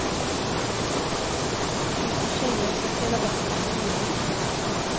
Det finns ju tjejer som spelar bättre än killar.